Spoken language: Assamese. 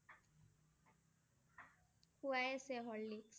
খুৱাই আছে Horlicks